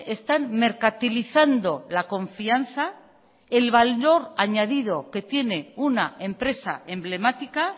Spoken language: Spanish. están mercantilizando la confianza el valor añadido que tiene una empresa emblemática